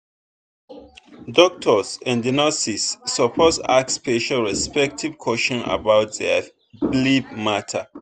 doctors and nurses suppose ask patients respectful questions about their belief matter.